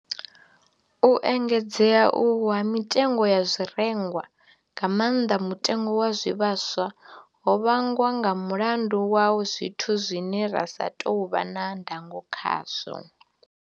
U engedzea uhu ha mitengo ya zwirengwa, nga maanḓa mutengo wa zwivhaswa, ho vhangwa nga mulandu wa zwithu zwine ra sa tou vha na ndango khazwo.